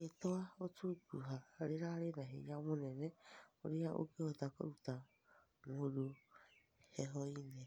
Ritwa gũtũngũha rĩrarĩ na hĩnya mũnene ũrĩa ũngĩhota kũrũta mũndũhehoĩnĩ